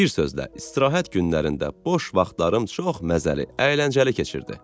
Bir sözlə, istirahət günlərində boş vaxtlarım çox məzəli, əyləncəli keçirdi.